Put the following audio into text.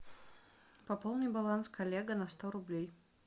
пополни баланс коллега на сто рублей